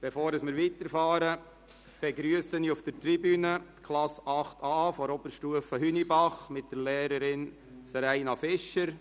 Bevor wir weiterfahren, begrüsse ich auf der Tribüne die Klasse 8a von der Oberstufe Hünibach mit der Lehrerin Seraina Fischer.